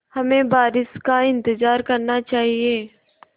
हमें बारिश का इंतज़ार करना चाहिए